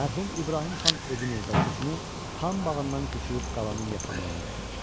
Mərhum İbrahim xan evini və köçünü xan bağından köçürüb qalanın yaxınlığına gətirdi.